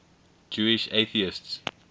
jewish atheists